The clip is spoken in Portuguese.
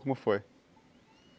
Como foi?